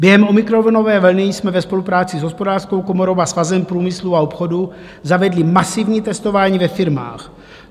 Během omikronové vlny jsme ve spolupráci s Hospodářskou komorou a Svazem průmyslu a obchodu zavedli masivní testování ve firmách.